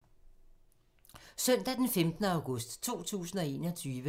Søndag d. 15. august 2021